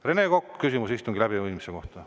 Rene Kokk, küsimus istungi läbiviimise kohta.